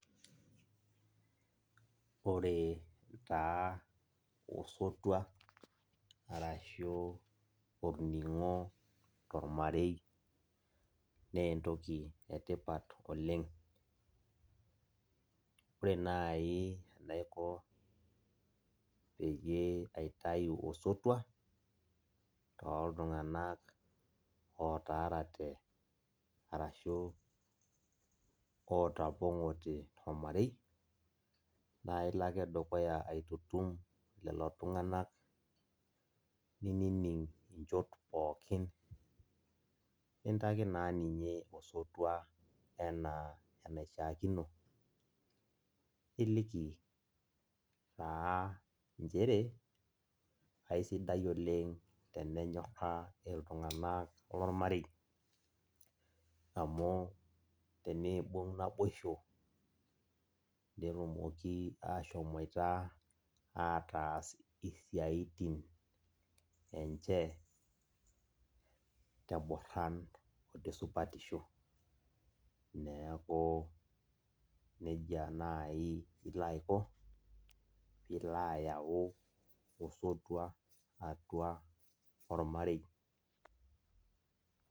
Ore taa osotua arashu orningo tormarei na entoki etipat oleng ore nai tanaipoti peyie aitu osotua toltunganak otaarate ashu otapongote tormarei na ilo ake dukuya aitutum lolo tunganak nining nchoot pookin nintaki naa ninche osotua ana enishaakino, ilikina nchere kaisidai oleng tenenyora ltunganak lormarei amu teneibung naboisho netumoki ashomoita ataas isiatin enche tenoran otesupatisho, neaku nejia nai ilo ako pilo ayau osotua atua ormarei.